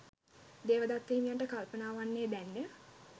දේවදත්ත හිමියන්ට කල්පනා වන්නේ දැන්ය.